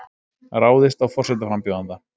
Ráðist á forsetaframbjóðanda